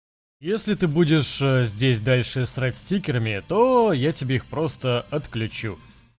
если ты будешь здесь дальше срать стикерами то я тебе их просто отключу